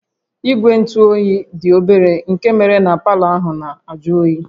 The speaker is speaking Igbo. Igwe ntụ oyi dị obere nke méré na palọ ahụ na-ajụ oyi